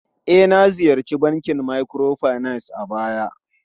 E, na ziyarci bankin microfinance a baya.